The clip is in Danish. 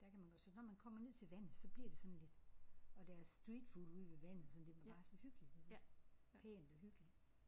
Der kan man godt så når man kommer ned til vandet så bliver det sådan lidt og deres street food ude ved vandet sådan det er bare så hyggeligt iggås. Pænt og hyggeligt